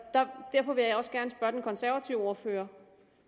derfor vil jeg også gerne spørge den konservative ordfører